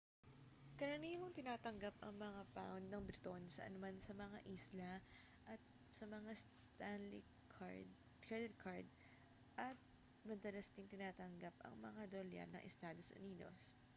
karaniwang tinatanggap ang mga pound ng briton saan man sa mga isla at sa mga stanley credit card at madalas ding tinatanggap ang mga dolyar ng estados unidos